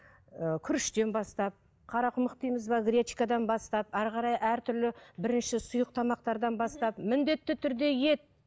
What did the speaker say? ыыы күріштен бастап қарақұмық дейміз бе гречкадан бастап ары қарай әртүрлі бірінші сұйық тамақтардан бастап міндетті түрде ет